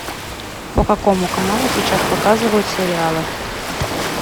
по какому каналу сейчас показывают сериалы